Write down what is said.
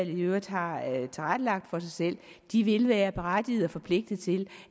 øvrigt har tilrettelagt for sig selv de vil være berettigede og forpligtigede til